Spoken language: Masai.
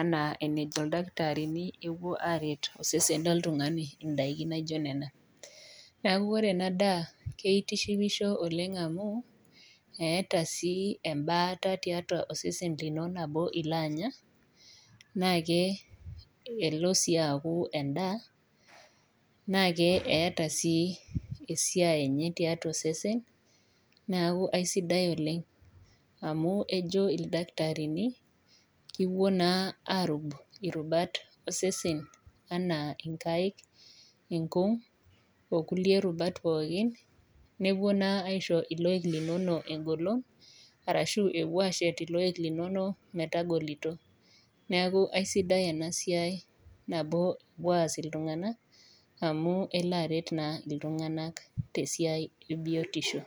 ena enajo ildakitarini epuo aret osesen loo oltung'ani edakii naijio Nena neeku ore ena daa naa kitishipisho amu etaa ebata to sesen enkolog nabo elo Anya naa elo sii aku endaa na etaa sii esiai enye tiatua osesen neeku aisidai oleng amu ejo ildakitarini kepuo naa arub irubat osesen enaa nkaik enkug oo kulie rubat pookin nepuo naa aishoo elokoik linono egolon ashu epuo ashet eloik linono metagolito neeku aisidai ena siai nabo epuo as iltung'ana amu kelo aret iltung'ana tee siai ebiotiosho